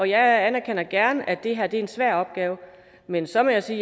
jeg anerkender gerne at det her er en svær opgave men så må jeg sige